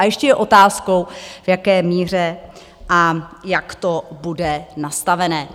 A ještě je otázkou, v jaké míře a jak to bude nastavené.